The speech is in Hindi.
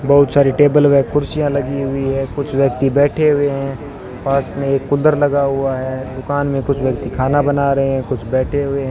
बहुत सारी टेबल व कुर्सियां लगी हुई है कुछ व्यक्ति बैठे हुए हैं पास में एक कूलर लगा हुआ है दुकान में कुछ व्यक्ति खाना बना रहे हैं कुछ बैठे हुए हैं।